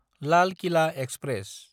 लाल कइला एक्सप्रेस